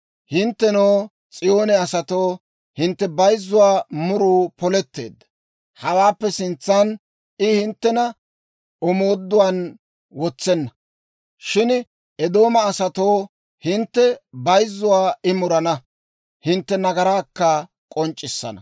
Hinttenoo, S'iyoone asatoo, hintte bayzzuwaa muruu poletteedda. Hawaappe sintsan I hinttena omooduwaan wotsenna. Shin Eedooma asatoo, hintte bayzzuwaa I murana; hintte nagaraakka k'onc'c'issana.